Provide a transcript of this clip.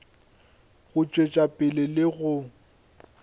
go tšwetša pele le go